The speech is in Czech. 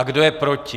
A kdo je proti?